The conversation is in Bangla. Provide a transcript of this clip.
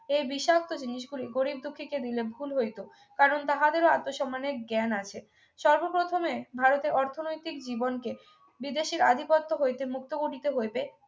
এই বিষাক্ত জিনিসগুলি গরীব দুঃখীকে দিলে ভুল হইত কারণ তাহাদেরও আত্মসম্মানের জ্ঞান আছে সর্বপ্রথমে ভারতের অর্থনৈতিক জীবনকে বিদেশের আধিপত্য হইতে মুক্ত করিতে হইবে